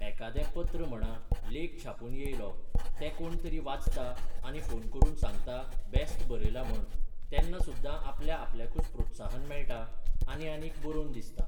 एकादें पत्र म्हणा लेख छापून येयलो ते कोण तरी वाचता आनी फोन करून सांगता बेस्ट बरयलां म्हण तेन्ना सुद्दां आपल्या आपल्याकूच प्रोत्साहन मेळटा आनी आनीक बरोवन दिसता.